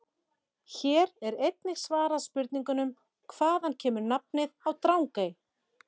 Hér er einnig svarað spurningunum: Hvaðan kemur nafnið á Drangey?